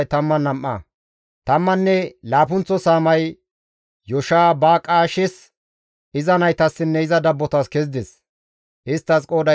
Tammanne laappunththa saamay Yoshibaqaashes, iza naytassinne iza dabbotas kezides; isttas qooday 12.